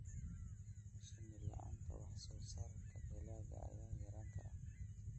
Shinni la'aanteed, wax-soo-saarka dalagga ayaa yaraan kara